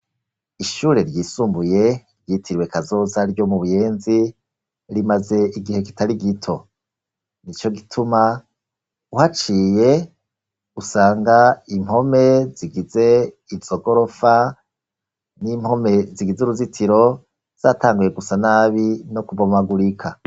Ishure ryisumbuye ryitirwe kazoza ryo mu buyenzi rimaze igihe kitari gito ni co gituma uhaciye usanga impome zigize izogorofa n'impome zigize uruzitiro zatanguye gusa nabi no kuvamagurika.